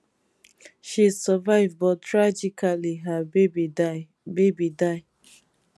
she survive but tragically her baby die baby die